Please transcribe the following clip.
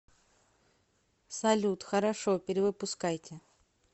салют хорошо перевыпускайте